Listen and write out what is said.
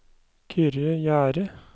Kyrre Gjerde